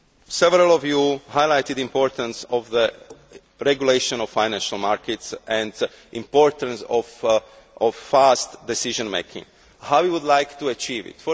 Several of you highlighted the importance of the regulation of financial markets and the importance of fast decision making and how we should achieve